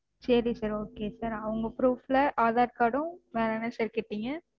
சரி sir okay sir அவங்க proof ல aadhar card ம் வேற என்ன sir கேட்டீங்க?